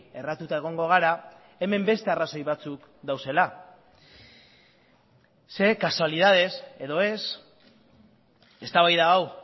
erratuta egongo gara hemen beste arrazoi batzuk daudela ze kasualidadez edo ez eztabaida hau